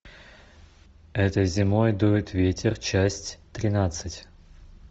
этой зимой дует ветер часть тринадцать